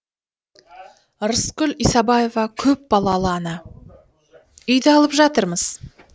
рыскүл исабаева көпбалалы ана үйді алып жатырмыз